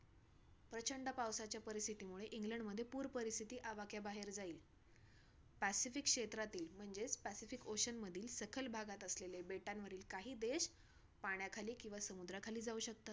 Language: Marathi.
basically कसं असतना सर ते मुलांचं आमचं म्हणजे basically आम्ही म्हणजे समजा आमचं graduation झालं किंवा बारावी झाली तर आम्हाला घरी बसून राहता येत नाही तुमच्या मुलींन सारखं आम्हाला कामाला तर जावचं लागतं लागतं.